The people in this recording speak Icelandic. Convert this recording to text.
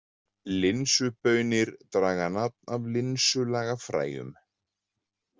Linsubaunir draga nafn af linsulaga fræjum.